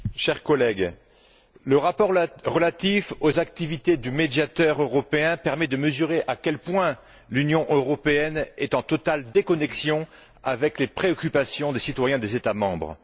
Monsieur le Président, chers collègues, le rapport relatif aux activités du Médiateur européen permet de mesurer à quel point l'Union européenne est en totale déconnexion avec les préoccupations des citoyens des États membres.